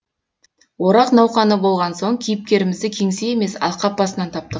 орақ науқаны болған соң кейіпкерімізді кеңсе емес алқап басынан таптық